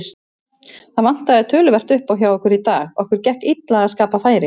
Það vantaði töluvert uppá hjá okkur í dag, okkur gekk illa að skapa færi.